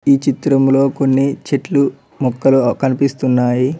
ఈ చిత్రంలో కొన్ని చెట్లు మొక్కలు కనిపిస్తున్నాయి.